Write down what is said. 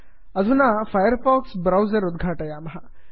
अधुना Firefox browser उद्घाटयामः